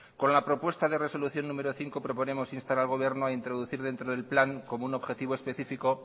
con la propuesta de resolución número cinco proponemos instar al gobierno a introducir dentro del plan como un objetivo específico